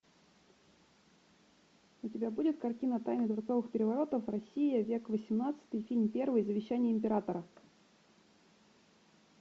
у тебя будет картина тайны дворцовых переворотов россия век восемнадцатый фильм первый завещание императора